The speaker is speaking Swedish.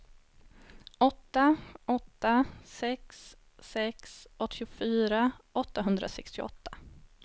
åtta åtta sex sex åttiofyra åttahundrasextioåtta